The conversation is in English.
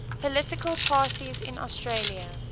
political parties in australia